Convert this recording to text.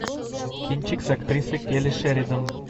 кинчик с актрисой келли шеридан